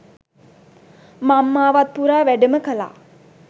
මංමාවත් පුරා වැඩම කළා